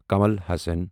Kamal Hassan